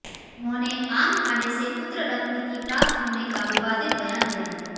उन्होंने आम खाने से पुत्र रत्न की प्राप्त होने का विवादित बयान दिया है